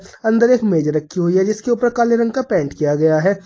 अंदर एक मेज रखी हुई है जिसके ऊपर काले रंग का पेंट किया गया है।